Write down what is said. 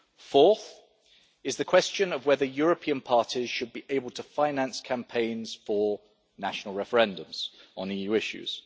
Fourth, is the question of whether European parties should be able to finance campaigns for national referendums on EU issues.